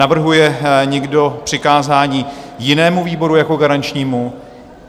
Navrhuje někdo přikázání jinému výboru jako garančnímu?